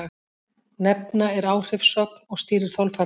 Nefna er áhrifssögn og stýrir þolfalli.